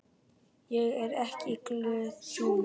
Ég er ekkert glöð núna.